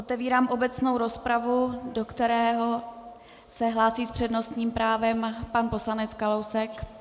Otevírám obecnou rozpravu, do které se hlásí s přednostním právem pan poslanec Kalousek.